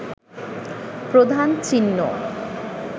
প্রধান চিহ্ন